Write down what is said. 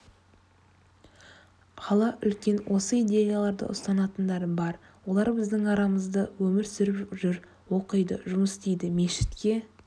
қала үлкен осы идеяларды ұстанатындар бар олар біздің арамызда өмір сүріп жүр оқиды жұмыс істейді мешітке